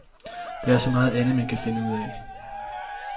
Der er så meget andet, man kan finde ud af.